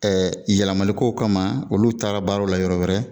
Ɛɛ yɛlɛlamalikow kama olu taara baaraw la yɔrɔ wɛrɛ